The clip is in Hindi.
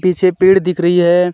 पीछे पेड़ दिख रही है।